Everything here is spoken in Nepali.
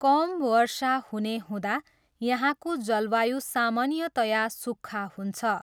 कम वर्षा हुने हुँदा यहाँको जलवायु सामान्यतया सुख्खा हुन्छ।